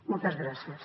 moltes gràcies